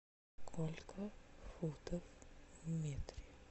сколько футов в метре